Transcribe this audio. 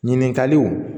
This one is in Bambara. Ɲininkaliw